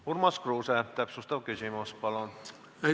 Urmas Kruuse, täpsustav küsimus, palun!